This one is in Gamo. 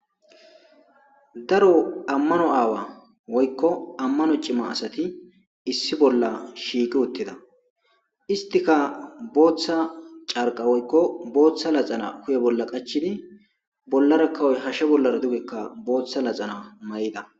daro ammano aawa woykko ammano cima asati issi bolla shiiqi uttida istika booththa carqa woykko booththa laxana hu'e bolla qachidi bollaraka woy hashshe bollara dugekka booththa laxana mayida